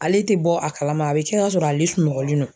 Ale tɛ bɔ a kalama, a bɛ kɛ ka sɔrɔ ale sunɔgɔlen don.